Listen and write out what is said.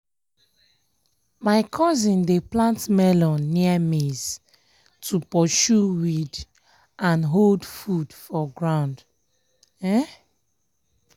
my cousin dey plant melon near maize to pursue weed and hold food for ground. um